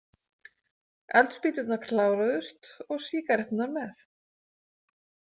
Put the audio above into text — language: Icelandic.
Eldspýturnar kláruðust og sígaretturnar með.